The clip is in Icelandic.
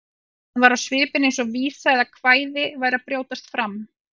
Hann var á svipinn eins og vísa eða kvæði væri að brjótast fram.